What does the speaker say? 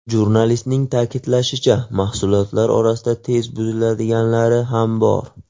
Jurnalistning ta’kidlashicha, mahsulotlar orasida tez buziladiganlari ham bor.